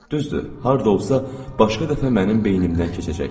Düzdür, harda olsa başqa dəfə mənim beynimdən keçəcək.